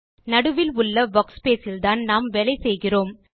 நடுவில் உள்ள வர்க்ஸ்பேஸ் இல்தான் நாம் வேலை செய்கிறோம்